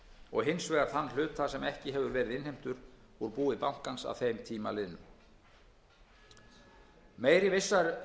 og hins vegar þann hluta sem ekki hefur verið innheimtur úr búi bankans að þeim tíma liðnum meiri vissa